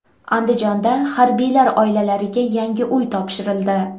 Andijonda harbiylar oilalariga yangi uy topshirildi.